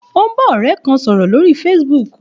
Ó ń bá ọ̀rẹ́ kan sọ̀rọ̀ lórí Facebook